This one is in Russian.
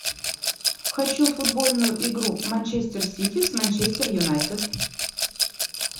хочу футбольную игру манчестер сити с манчестер юнайтед